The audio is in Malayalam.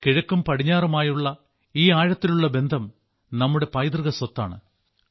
കിഴക്കും പടിഞ്ഞാറുമായുള്ള ഈ ആഴത്തിലുള്ള ബന്ധം നമ്മുടെ പൈതൃക സ്വത്താണ്